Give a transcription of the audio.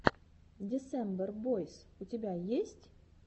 десембер бойс у тебя есть